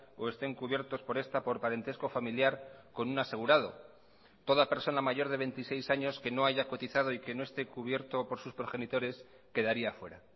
o estén cubiertos por esta por parentesco familiar con un asegurado toda persona mayor de veintiséis años que no haya cotizado y que no esté cubierto por sus progenitores quedaría fuera